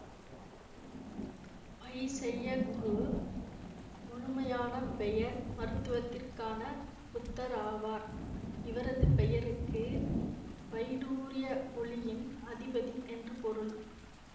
பைசையகுரு முழுமையான பெயர் மருத்துவத்திற்கான புத்தர் ஆவார் இவரது பெயருக்கு வைடூர்ய ஒளியின் அதிபதி என்று பொருள்